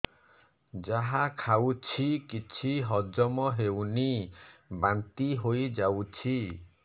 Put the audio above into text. ଯାହା ଖାଉଛି କିଛି ହଜମ ହେଉନି ବାନ୍ତି ହୋଇଯାଉଛି